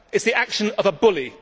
It is the action of a bully.